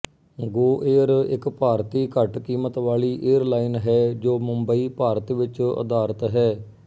ਗੋਏਅਰ ਇੱਕ ਭਾਰਤੀ ਘੱਟਕੀਮਤ ਵਾਲੀ ਏਅਰ ਲਾਈਨ ਹੈ ਜੋ ਮੁੰਬਈ ਭਾਰਤ ਵਿੱਚ ਅਧਾਰਿਤ ਹੈ